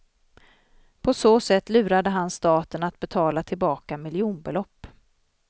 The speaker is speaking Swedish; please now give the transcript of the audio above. På så sätt lurade han staten att betala tillbaka miljonbelopp.